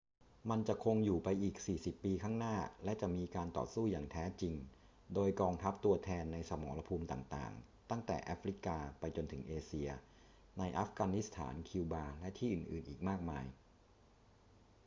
มันจะคงอยู่ไปอีก 40 ปีข้างหน้า และจะมีการต่อสู้อย่างแท้จริงโดยกองทัพตัวแทน ในสมรภูมิต่าง ๆ ตั้งแต่แอฟริกาไปจนถึงเอเชีย ในอัฟกานิสถาน คิวบา และที่อื่น ๆ อีกมากมาย